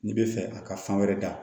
N'i bɛ fɛ a ka fan wɛrɛ da